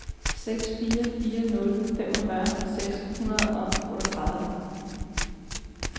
seks fire fire nul femogfyrre seks hundrede og otteogtredive